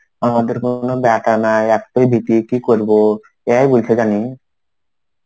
আমাদের কোনো ব্যাটা নাই. একতাই দিদি কি করবো? এই বলছে জানি.